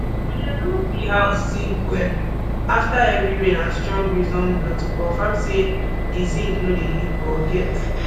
we dey look di house zinc well afta heavy rain and strong breeze don blow to confam say di zinc no dey leak or get